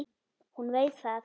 Hún veit það.